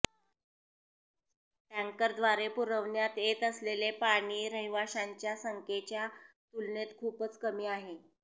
टँकरद्वारे पुरवण्यात येत असलेले पाणी रहिवाशांच्या संख्येंच्या तुलनेत खूपच कमी आहे